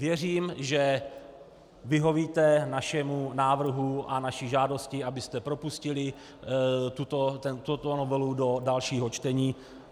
Věřím, že vyhovíte našemu návrhu a naší žádosti, abyste propustili tuto novelu do dalšího čtení.